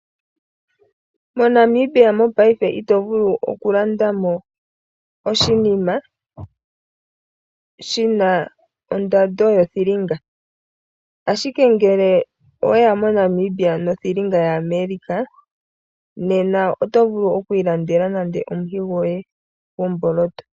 MoNamibia mopaife ito vulu okulanda mo oshinima shina ondando yothilinga. Ashike ngel oweya mNamibia nothilinga ya America, nena oto vulu okwiilandela nando omuhi gwoye gwomboloto.